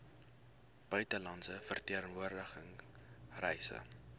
buitelandse verteenwoordiging reise